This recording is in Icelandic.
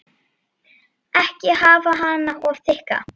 Ekki hafa hana of þykka.